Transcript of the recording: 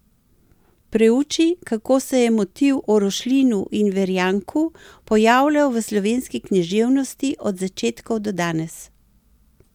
Preuči, kako se je motiv o Rošlinu in Verjanku pojavljal v slovenski književnosti od začetkov do danes.